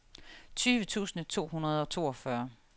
tyve tusind to hundrede og toogfyrre